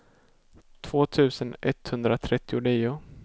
två tusen etthundratrettionio